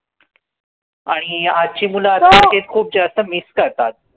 आणि आजची मुलं खूप जास्त miss करतात.